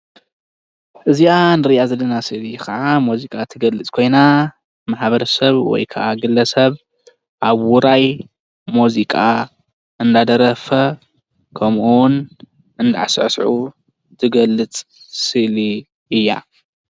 እዚአ እንሪአ ዘለና ስእሊካዓ ሙዚቃ እትገልፅ ኮይና ማሕበረሰብ ወይ ካዓ ግለ ሰብ አብ ውራይ ሙዚቃ እናደረፈ ከምኡ እውን አንዳሳሰዑ ትገልፅ ስኒ እያ።